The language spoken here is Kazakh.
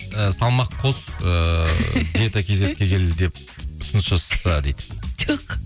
і салмақ қос ыыы ұсыныс жасаса дейді жоқ